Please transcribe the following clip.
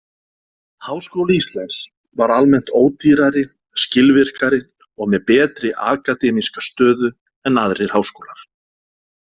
Háskóli Íslands var almennt ódýrari, skilvirkari og með betri akademíska stöðu en aðrir háskólar.